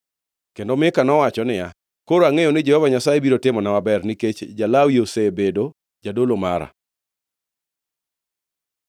Kendo Mika nowacho niya, “Koro angʼeyo ni Jehova Nyasaye biro timona maber, nikech ja-Lawi osebedo jadolo mara.”